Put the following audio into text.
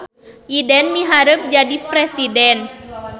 Iden miharep jadi presiden